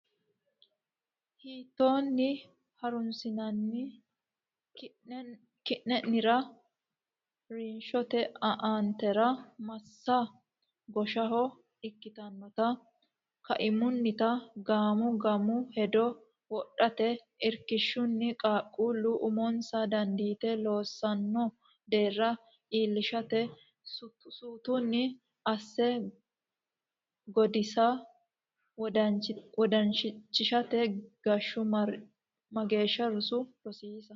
hiittoonni ha runsinanni keennanniro ha rinshote aantera massa gooshsheho ikkitannota kaimuniita guma guma hedo wodhate Irkishshunni qaaqquullu umonsa dandiite loossaano deerra iillishate suutunni asse Gooddisa wondanchishiishate Geeshshu marichonna mageeshshi roso rosiisa.